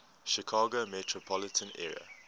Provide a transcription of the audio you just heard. chicago metropolitan area